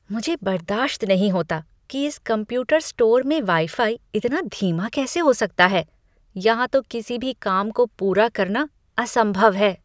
मुझे बर्दाश्त नहीं होता कि इस कंप्यूटर स्टोर में वाई फाई इतना धीमा कैसे हो सकता है। यहाँ तो किसी भी काम को पूरा करना असंभव है।